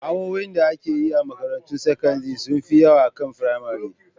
Awoyi da ake yi a makarantun sakandire sun fi yawa akan na firamare